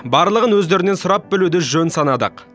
барлығын өздерінен сұрап білуді жөн санадық